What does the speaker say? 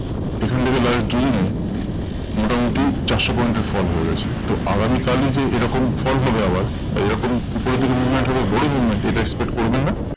এখন থেকে ধরে নিই মোটামুটি চারশো point এর fall হয়ে গেছে। তো আগামী কালই যে এরকম fall হবে আবার বা এরকম উপরের দিকে movement হবে বড় movement এটা expect করবেন না।